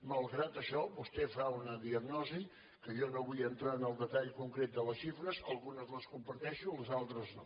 malgrat això vostè fa una diagnosi que jo no vull entrar en el detall concret de les xifres algunes les comparteixo les altres no